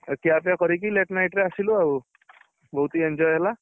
ଏ ଖିଆ ପିଇଆ କରିକି late night ଆସିଲୁ ଆଉ ବହୁତ enjoy ହେଲା